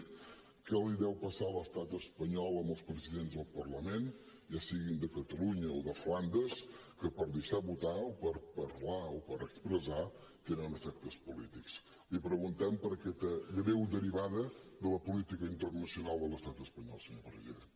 què li deu passar a l’estat espanyol amb els presidents del parlament ja siguin de catalunya o de flandes que per deixar votar o per parlar o per expressar tenen efectes polítics li preguntem per aquesta greu derivada de la política internacional de l’estat espanyol senyor president